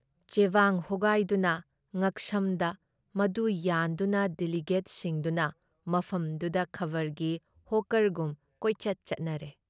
ꯆꯦꯕꯥꯡ ꯍꯣꯒꯥꯏꯗꯨꯅ ꯉꯛꯁꯝꯗ ꯃꯗꯨ ꯌꯥꯟꯗꯨꯅ ꯗꯤꯂꯤꯒꯦꯠꯁꯤꯡꯗꯨꯅ ꯃꯐꯝꯗꯨꯗ ꯈꯕꯔꯒꯤ ꯍꯣꯛꯀꯔꯒꯨꯝ ꯀꯣꯏꯆꯠ ꯆꯠꯅꯔꯦ ꯫